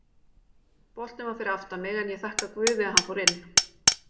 Boltinn var fyrir aftan mig en ég þakka guði að hann fór inn.